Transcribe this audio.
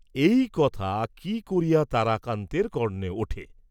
এই কথা কি করিয়া তারাকান্তের কর্ণে উঠে।